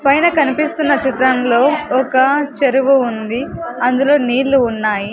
పైన కనిపిస్తున్న చిత్రంలో ఒక చెరువు ఉంది అందులో నీళ్ళు ఉన్నాయి.